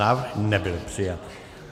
Návrh nebyl přijat.